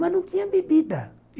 Mas não tinha bebida.